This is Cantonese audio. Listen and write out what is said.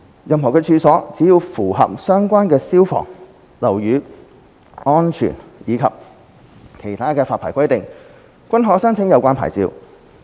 任何處所，只要符合相關消防、樓宇安全及其他發牌規定，均可申請有關牌照。